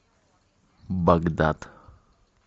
багдад